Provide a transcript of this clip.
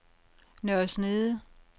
Nørre Snede